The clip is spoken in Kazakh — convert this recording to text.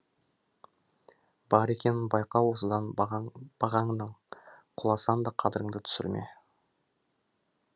бар екенін байқа осыдан бағаңның бағаңның құласаң да қадіріңді түсірме